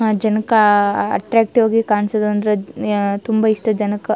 ಆ ಜನಕ್ ಅಟ್ಟ್ರಾಕ್ಟಿವ್ ಗೆ ಕಾಣಸೋದಂದ್ರೆ ಯ ತುಂಬಾ ಇಷ್ಟ ಜನಕ್.